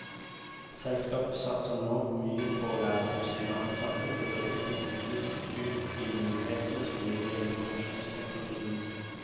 Selskapet satser nå mye på å lære opp sine ansatte til å utnytte fullt ut de mulighetene som ligger i informasjonsteknologien.